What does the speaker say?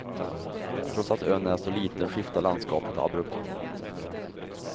Trots att ön är så liten skiftar landskapet abrupt.